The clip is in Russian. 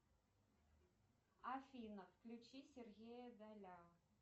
афина включи сергея даля